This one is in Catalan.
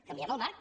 canvien el marc